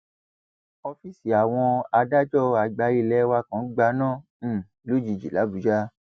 ọfíìsì àwọn adájọ àgbà ilé wa kan gbaná um lójijì làbújá